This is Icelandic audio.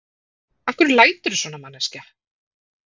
Af hverju læturðu svona, manneskja!